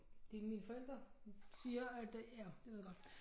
Det mine forældre siger at øh ja jeg ved godt